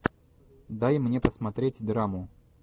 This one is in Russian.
дай мне посмотреть драму